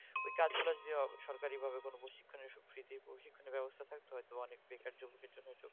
তো ওইকাজগুলো যদি সরকারি ভাবে কোনো প্রশিক্ষণের . প্রশিক্ষণের ব্যবস্থা থাকতো হয়তো অনেক বেকার যুবকের জন্য